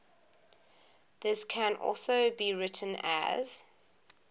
this can also be written as